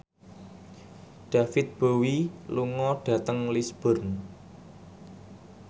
David Bowie lunga dhateng Lisburn